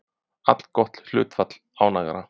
Allgott hlutfall ánægðra